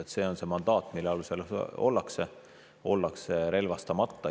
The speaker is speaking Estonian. Ja see on see mandaat, mille alusel ollakse relvastamata.